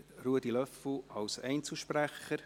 Ruedi Löffel als Einzelsprecher.